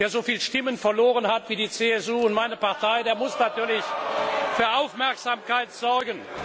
Wer so viele Stimmen verloren hat wie die CSU und meine Partei, der muss natürlich für Aufmerksamkeit sorgen.